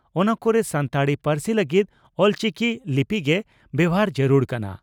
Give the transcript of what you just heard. ᱚᱱᱟ ᱠᱚᱨᱮ ᱥᱟᱱᱛᱟᱲᱤ ᱯᱟᱹᱨᱥᱤ ᱞᱟᱹᱜᱤᱫ 'ᱚᱞᱪᱤᱠᱤ' ᱞᱤᱯᱤ ᱜᱮ ᱵᱮᱵᱷᱟᱨ ᱡᱟᱹᱨᱩᱲ ᱠᱟᱱᱟ ᱾